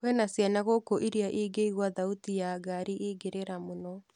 Kwĩna ciana gũkũ ĩrĩa ingĩigua thauti ya ngari ingĩrĩra mũno.